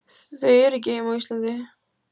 Þau eru ekki heima á Íslandi.